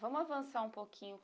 Vamos avançar um pouquinho.